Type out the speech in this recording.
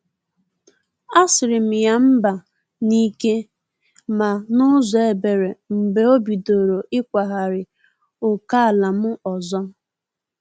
A sirm ya mba n’ike ma n’ụzọ ebere mgbe obidoro ikwagari ókèala m ọzọ.